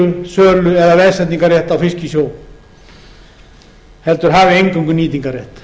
eignarhlutdeildarleigu sölu eða veðsetningarrétt á fisk í sjó heldur hafi eingöngu nýtingarrétt